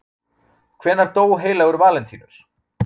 hvenær dó heilagur valentínus